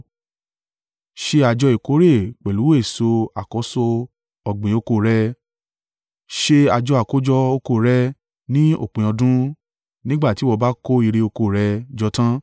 “Ṣe àjọ ìkórè pẹ̀lú èso àkọ́so ọ̀gbìn oko rẹ. “Ṣe àjọ àkójọ oko rẹ ní òpin ọdún, nígbà tí ìwọ bá kó ìre oko rẹ jọ tan.